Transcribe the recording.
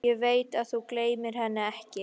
Ég veit að þú gleymir henni ekki.